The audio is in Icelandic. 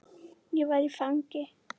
Ég var fangi.